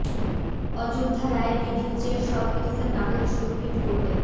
অযোধ্যা রায়ের রিভিউ চেয়ে সব পিটিশন নাকচ সুপ্রিম কোর্টে